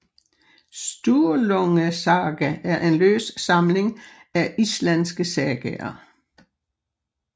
Sturlungasaga er en løs samling af islandske sagaer